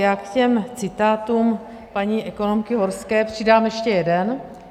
Já k těm citátům paní ekonomky Horské přidám ještě jeden.